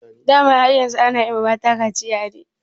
Dama har yanzu ana yi ma mata kaciya ne?